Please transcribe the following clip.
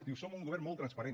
diu som un govern molt transparent